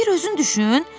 Bir özün düşün!